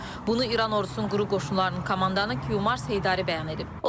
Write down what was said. Bunu İran ordusunun quru qoşunlarının komandanı Kiomar Seydari bəyan edib.